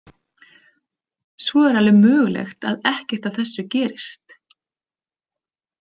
Svo er alveg mögulegt að ekkert af þessu gerist.